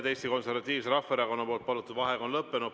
Eesti Konservatiivse Rahvaerakonna palutud vaheaeg on lõppenud.